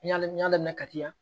N y'a n y'a daminɛ kati yan